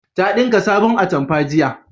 Ta dinka sabon atamfa jiya